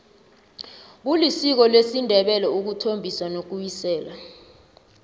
kulisiko lesindebele ukuthombisa nokuwisela